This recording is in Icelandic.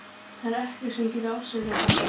Það er ekkert sem getur afsakað þetta.